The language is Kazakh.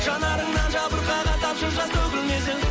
жанарыңнан жабырқаған тамшы жас төгілмесін